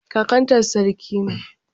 Kakanta sarki ne.